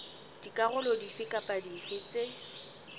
dikarolo dife kapa dife tse